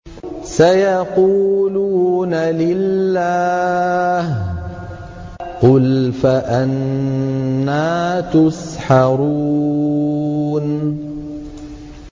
سَيَقُولُونَ لِلَّهِ ۚ قُلْ فَأَنَّىٰ تُسْحَرُونَ